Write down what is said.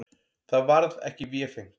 Það varð ekki vefengt.